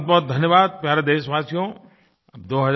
बहुतबहुत धन्यवाद प्यारे देशवासियो